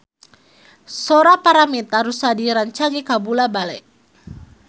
Sora Paramitha Rusady rancage kabula-bale